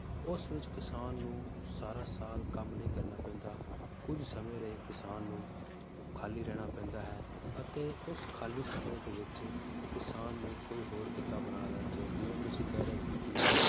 ਉਸ ਵਿਚ ਕਿਸਾਨ ਨੂੰ ਸਾਰਾ ਸਾਲ ਕੰਮ ਕਰਨਾ ਨਹੀਂ ਪੈਂਦਾ ਕੁਝ ਸਮੇ ਰਹੇ ਕਿਸਾਨ ਨੂੰ ਖਾਲੀ ਰਹਿਣਾ ਪੈਂਦਾ ਹੈ ਅਤੇ ਉਸ ਖਾਲੀ ਸਮੇ ਦੇ ਵਿਚ ਕਿਸਾਨ ਨੂੰ ਕੋਈ ਹੋਰ ਕੀਤਾ ਆਪਣਾ ਲੈਣਾ ਚਾਹੀਦਾ ਹੈ, ਜਿਵੇ ਤੁਸੀਂ ਕਹਿ ਰਹੇ ਸੀ ਕੀ